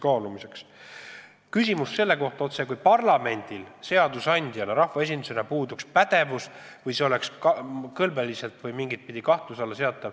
Oli ka küsimus, ega parlamendil seadusandjana, rahvaesindusena ei puudu pädevus või kõlbeline õigus sellise küsimusega tegeleda.